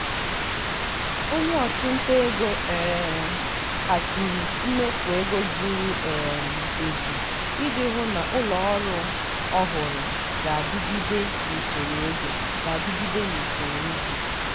onye ọchụnta ego um haziri mmefu ego zuru um ezu iji hụ na ụlọọrụ ọhụrụ ga-adịgide n’usoro ego. ga-adịgide n’usoro ego.